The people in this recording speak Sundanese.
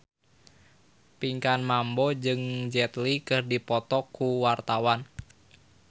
Pinkan Mambo jeung Jet Li keur dipoto ku wartawan